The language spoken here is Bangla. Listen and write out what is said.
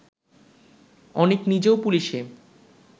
অনিক নিজেও পুলিশে